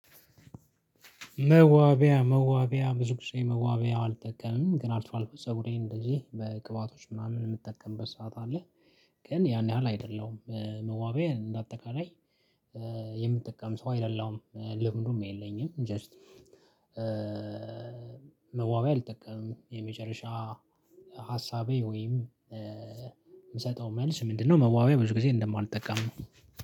መዋቢያ፣ መዋቢያ ብዙ ጊዜ መዋቢያው አልጠቀምንም ግን አልፎዐአልፎ ፀጉሬን እንደዚህ በቅባቶች ምናምን የምጠቀምበት ሰዓት አለ። ግን ያን ያህል አይደለም መዋቢያ እንደ አጠቃላይ። የምጠቀም ሰው አይደለሁም ልምዱም የለኝም ጀስት። መዋቢያ አልጠቀምም የመጨረሻ። ሀሳቤ ወይም የምሰጠው መልስ ምንድነው? መዋቢያ ብዙ ጊዜ እንደማልጠቀም ነው።